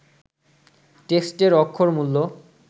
টেক্সটের অক্ষরমূল